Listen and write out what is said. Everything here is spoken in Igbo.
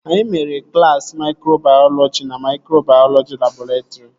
Anyị mere klaasị maikrobayọlọji na maikrobayọlọji labọretrị